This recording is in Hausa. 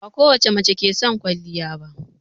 Bakowace mace ke son kwaliya ba